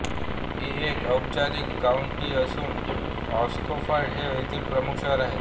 ही एक औपचारिक काउंटी असून ऑक्सफर्ड हे येथील प्रमुख शहर आहे